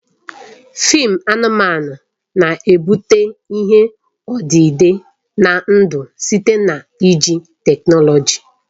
Fịịm anụmanụ na-ebute ihe odide na ndụ site na iji teknọlọji